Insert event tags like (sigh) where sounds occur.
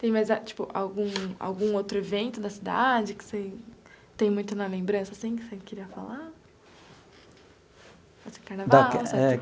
Tem mais tipo algum algum outro evento da cidade que você tem muito na lembrança assim, que você queria falar? (unintelligible)